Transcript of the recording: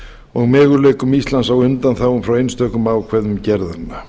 og möguleikum íslands á undanþágum frá einstökum ákvæðum gerðanna